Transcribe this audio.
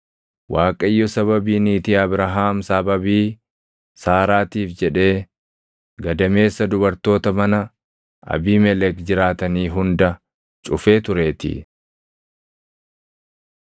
Waaqayyo sababii niitii Abrahaam sababii Saaraatiif jedhee gadameessa dubartoota mana Abiimelek jiraatanii hunda cufee tureetii.